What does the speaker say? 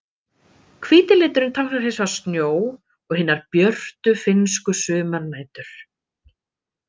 Hvíti liturinn táknar hins vegar snjó og hinar björtu finnsku sumarnætur.